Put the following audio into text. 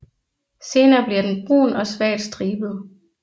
Senere bliver den brun og svagt stribet